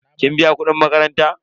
kin biya kudin makaranta?